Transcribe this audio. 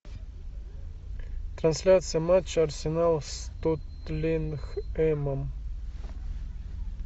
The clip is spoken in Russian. трансляция матча арсенал с тоттенхэмом